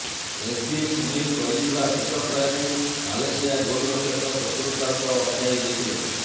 SV Sunil କରିଥିବା ଶେଷ ପ୍ରୟାସକୁ ମାଲେସିଆ ଗୋଲ୍ ରକ୍ଷକ ଚତୁରତାର ସହ ଅଟକାଇ ଦେଇଥିଲେ